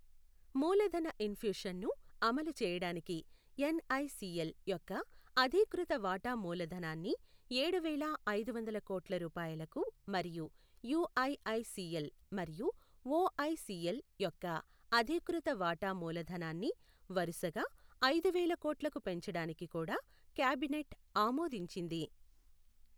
మూలధన ఇన్ఫ్యూషన్ను అమలు చేయడానికి ఎన్ఐసిఎల్ యొక్క అధీకృత వాటా మూలధనాన్ని ఏడు వేల ఐదు వందల కోట్ల రూపాయలకు మరియు యూఐఐసిఎల్ మరియు ఓఐసిఎల్ యొక్క అధీకృత వాటా మూలధనాన్ని వరుసగా ఐదు వేల కోట్లకు పెంచడానికి కూడా క్యాబినెట్ ఆమోదించింది.